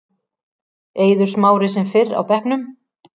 Eiður Smári sem fyrr á bekknum